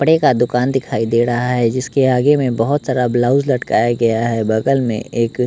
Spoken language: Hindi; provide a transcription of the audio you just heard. कपड़े का दुकान दिखाई दे रहा है जिसके आगे में बहोत सारा ब्लाउज लटकाया गया है बगल में एक--